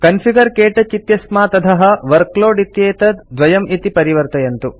configure क्तौच इत्यस्मात् अधः वर्कलोड इत्येतत् 2 इति परिवर्तयन्तु